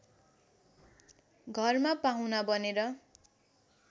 घरमा पाहुना बनेर